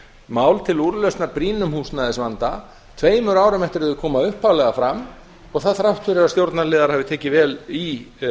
mál til úrlausnar brýnum húsnæðisvanda tveimur árum eftir að þau koma upphaflega fram og það þrátt fyrir að stjórnarliðar hafi tekið vel í